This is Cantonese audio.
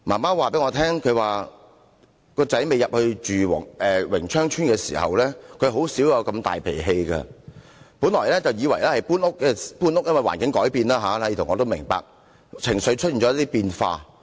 他的母親告訴我，未遷入榮昌邨前，他的兒子甚少發那麼大脾氣，本來以為是搬屋，因為環境改變，這點我也明白，令情緒出現變化。